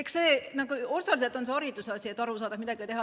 Eks see osaliselt on hariduse küsimus, et aru saada, et midagi teha tuleb.